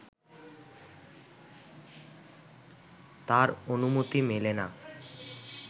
তার অনুমতি মেলে না